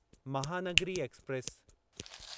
Mahanagari express